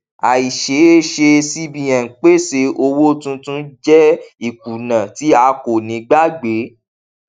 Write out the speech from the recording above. àìṣeéṣe cbn pèsè owó tuntun jẹ ìkùnà tí a kò ní gbàgbé